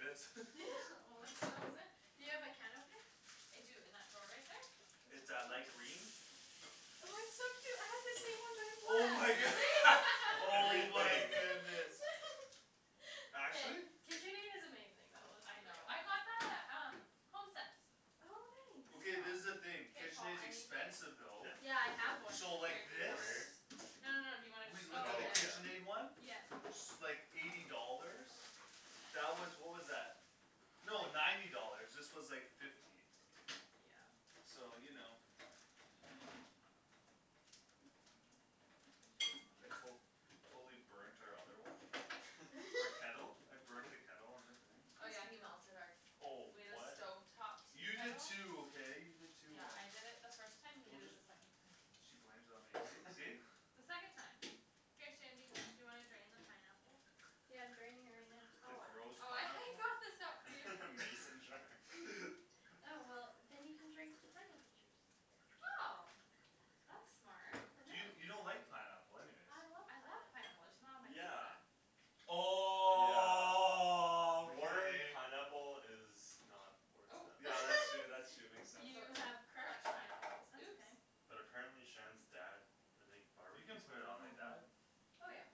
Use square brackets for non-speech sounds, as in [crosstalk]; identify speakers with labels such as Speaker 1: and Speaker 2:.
Speaker 1: this [laughs]
Speaker 2: [laughs] Well that's what [inaudible] Do you have a can opener?
Speaker 3: I do, in that drawer right there?
Speaker 1: It's a light green
Speaker 2: Oh it's so cute, I have the same one but
Speaker 1: Oh my
Speaker 2: a cat
Speaker 1: good-
Speaker 3: Really?
Speaker 1: [laughs]
Speaker 4: [laughs]
Speaker 1: Oh my
Speaker 4: Everything
Speaker 1: goodness
Speaker 2: [laughs]
Speaker 1: Actually?
Speaker 2: KitchenAid is amazing though,
Speaker 3: Oh,
Speaker 2: let's
Speaker 3: I
Speaker 2: be
Speaker 3: know,
Speaker 2: real
Speaker 3: I got that at um, HomeSense
Speaker 2: Oh
Speaker 3: I
Speaker 1: Okay,
Speaker 2: nice
Speaker 1: this is the
Speaker 3: know
Speaker 1: thing,
Speaker 3: K Paul,
Speaker 1: KitchenAid's
Speaker 3: I need the
Speaker 1: expensive though
Speaker 4: Yeah
Speaker 2: Yeah I have
Speaker 4: [inaudible]
Speaker 2: one
Speaker 1: So
Speaker 3: Here,
Speaker 1: like
Speaker 3: do you
Speaker 1: this?
Speaker 4: Over
Speaker 3: wanna
Speaker 4: here?
Speaker 3: No no no, do you wanna
Speaker 1: We looked
Speaker 2: Oh
Speaker 1: at the
Speaker 4: Oh
Speaker 2: yeah
Speaker 4: yeah
Speaker 3: just [inaudible]
Speaker 1: KitchenAid one
Speaker 2: Yep
Speaker 1: S- like, eighty dollars That was, what was that? No, ninety dollars, this was like fifty
Speaker 2: Yeah
Speaker 1: So you know I col- Totally burnt our other one, eh? Our kettle?
Speaker 4: [laughs]
Speaker 2: [laughs]
Speaker 1: I burnt the kettle on the thing
Speaker 3: Oh
Speaker 2: Course
Speaker 3: yeah
Speaker 2: you
Speaker 3: he melted our
Speaker 2: do
Speaker 4: Oh
Speaker 3: We had a
Speaker 4: what
Speaker 3: stove top tea
Speaker 1: You did
Speaker 3: kettle
Speaker 1: too, okay? You did too
Speaker 3: Yeah
Speaker 1: on-
Speaker 3: I did it first time, you
Speaker 1: Don't
Speaker 3: did it
Speaker 1: just
Speaker 3: the second time
Speaker 1: She blames it on me, see see?
Speaker 4: [laughs]
Speaker 3: The second time Here Shandy, do you wanna drain the pineapple?
Speaker 2: Yeah I'm draining it right now
Speaker 1: The
Speaker 3: Oh,
Speaker 1: gross
Speaker 3: oh I [laughs] I
Speaker 1: pineapple?
Speaker 3: got this out for you
Speaker 4: [laughs] Mason jar
Speaker 1: [laughs]
Speaker 2: Yeah well, then you can drink the pineapple juice
Speaker 3: Oh That's smart
Speaker 2: I
Speaker 1: Do you,
Speaker 2: know
Speaker 1: you don't like pineapple anyways
Speaker 2: I love
Speaker 3: I love
Speaker 2: pineapple
Speaker 3: pineapple, I just not on my
Speaker 4: Yeah
Speaker 3: pizza
Speaker 4: Yeah Warm
Speaker 1: Okay
Speaker 4: pineapple is not where it's
Speaker 3: Oh
Speaker 2: Oh
Speaker 4: at
Speaker 1: Yeah that's true
Speaker 2: [laughs]
Speaker 1: that's true, makes sense
Speaker 3: You have crushed pineapples
Speaker 2: That's
Speaker 3: oops
Speaker 2: okay
Speaker 4: But apparently Shan's dad, I think
Speaker 1: You
Speaker 4: barbecues
Speaker 1: can't put it on like
Speaker 4: pineapple?
Speaker 1: that
Speaker 3: Mhm
Speaker 2: Oh yeah